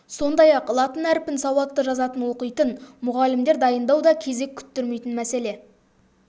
сондай-ақ латын әрпін сауатты жазатын оқитын мұғалімдер дайындау да кезек күттірмейтін мәселе